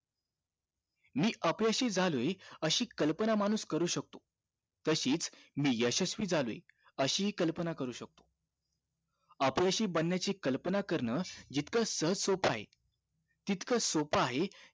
मी अपयशी झालोय अशी कल्पना माणूस करू शकतो तशीच मी यशस्वी झालोय अशी हि कल्पना करू शकतो अपयशी बनण्याची कल्पना करन जितकं सहज सोपं आहे तितकं सोपं आहे